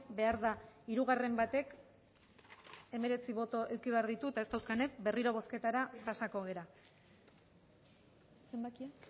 behar da hirugarren batek hemeretzi boto eduki behar ditu eta ez dauzkanez berriro bozketara pasako gara zenbakia